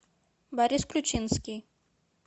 борис ключинский